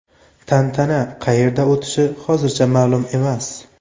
Tantana qayerda o‘tishi hozircha ma’lum emas.